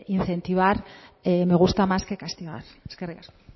incentivar me gusta más que castigar eskerrik asko